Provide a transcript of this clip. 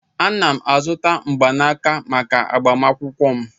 Ana m azụta mgbanaka maka agbamakwụkwọ m.